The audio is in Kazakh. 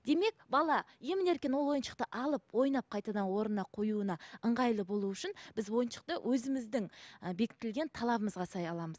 демек бала емін еркін ол ойыншықты алып ойнап қайтадан орнына қоюына ыңғайлы болу үшін біз ойыншықты өзіміздің і бекітілген талабымызға сай аламыз